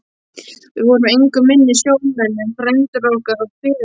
Við vorum engu minni sjómenn en frændur okkar og feður.